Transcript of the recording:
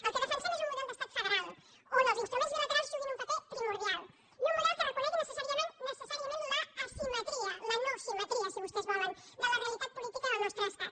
el que defensem és un model d’estat federal on els instruments bilaterals juguin un paper primordial i un model que reconegui necessàriament l’asimetria la no simetria si vostès volen de la realitat política del nostre estat